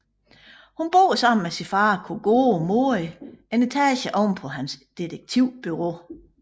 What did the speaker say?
Hun bor sammen med sin far Kogoro Mori en etage ovenpå hans detektivbureau